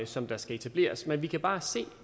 som der skal etableres men vi kan bare se